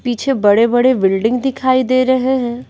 पीछे बड़े-बड़े बिल्डिंग दिखाई दे रहे हैं।